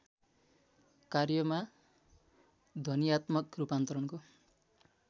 कार्यमा ध्वन्यात्मक रूपान्तरणको